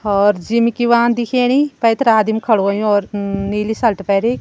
और जिम की वा दिखेणी पैथर आदमी खडु हवयूं और नीली शर्ट पेरीं।